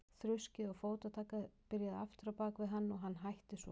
Þruskið og fótatakið byrjaði aftur á bak við hann og hætti svo.